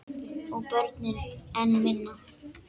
Og börnin enn minna.